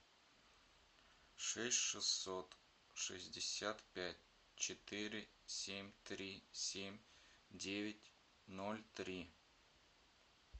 шесть шестьсот шестьдесят пять четыре семь три семь девять ноль три